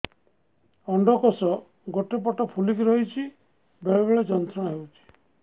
ଅଣ୍ଡକୋଷ ଗୋଟେ ପଟ ଫୁଲିକି ରହଛି ବେଳେ ବେଳେ ଯନ୍ତ୍ରଣା ହେଉଛି